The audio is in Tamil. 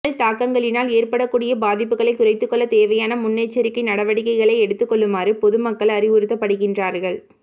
மின்னல் தாக்கங்களினால் ஏற்படக்கூடிய பாதிப்புகளை குறைத்துக்கொள்ள தேவையான முன்னெச்சரிக்கை நடவடிக்கைகளை எடுத்துக் கொள்ளுமாறு பொதுமக்கள் அறிவுறுத்தப்படுகின்றார்கள்